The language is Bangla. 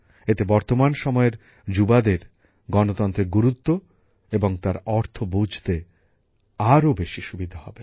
এতে বর্তমান সময়ের যুবকযুবতীদের গণতন্ত্রের গুরুত্ব এবং তার অর্থ বুঝতে আরো বেশি সুবিধা হবে